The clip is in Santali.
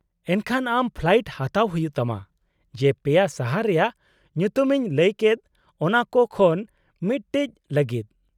-ᱮᱱᱠᱷᱟᱱ ᱟᱢ ᱯᱷᱞᱟᱭᱤᱴ ᱦᱟᱛᱟᱣ ᱦᱩᱭᱩᱜ ᱛᱟᱢᱟ ᱡᱮ ᱯᱮᱭᱟ ᱥᱟᱦᱟᱨ ᱨᱮᱭᱟᱜ ᱧᱩᱛᱩᱢᱤᱧ ᱞᱟᱹᱭ ᱠᱮᱫ ᱚᱱᱟ ᱠᱚ ᱠᱷᱚᱱ ᱢᱤᱫᱴᱤᱡ ᱞᱟᱜᱤᱫ ᱾